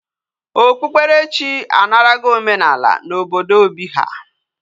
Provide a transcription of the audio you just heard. Okpukpere chi anarago omenala na obodo Obi ha